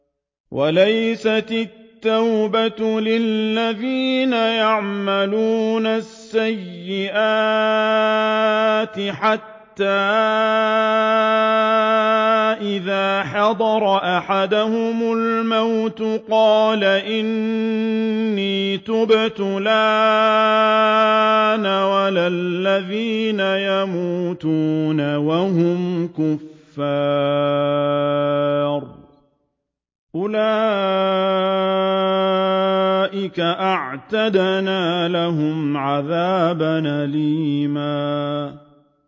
وَلَيْسَتِ التَّوْبَةُ لِلَّذِينَ يَعْمَلُونَ السَّيِّئَاتِ حَتَّىٰ إِذَا حَضَرَ أَحَدَهُمُ الْمَوْتُ قَالَ إِنِّي تُبْتُ الْآنَ وَلَا الَّذِينَ يَمُوتُونَ وَهُمْ كُفَّارٌ ۚ أُولَٰئِكَ أَعْتَدْنَا لَهُمْ عَذَابًا أَلِيمًا